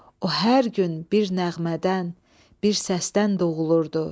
O hər gün bir nəğmədən, bir səsdən doğulurdu.